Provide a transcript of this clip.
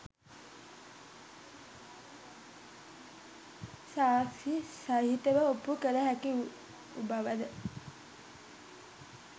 සාක්‍ෂි සහිතව ඔප්පු කළ හැකි වූ බව ද